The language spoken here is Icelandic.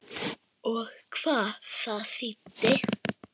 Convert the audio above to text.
Og hvað það þýddi.